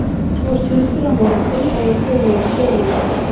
Svo er fundur á morgun og við förum yfir stöðuna.